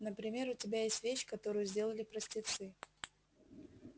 например у тебя есть вещь которую сделали простецы